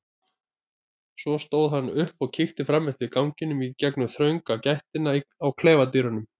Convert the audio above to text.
Svo stóð hann upp og kíkti fram eftir ganginum í gegnum þrönga gættina á klefadyrunum.